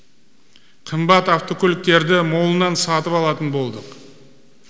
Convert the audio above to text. қымбат автокөліктерді молынан сатып алатын болдық